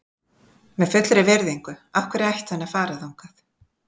Með fullri virðingu, af hverju ætti hann að fara þangað?